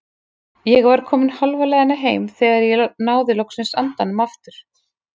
Ég var komin hálfa leiðina heim þegar ég náði loks andanum aftur.